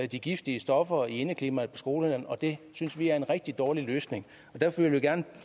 de giftige stoffer i indeklimaet skolerne og det synes vi at en rigtig dårlig løsning derfor vil vi gerne